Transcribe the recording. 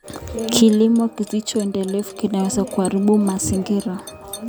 Kilimo kisicho endelevu kinaweza kuharibu mazingira.